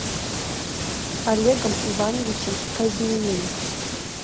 олегом ивановичем казьминым